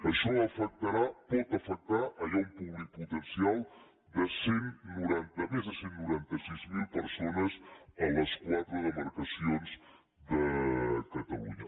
això afectarà pot afectar hi ha un públic potencial de més de cent i noranta sis mil persones a les quatre demarcacions de catalunya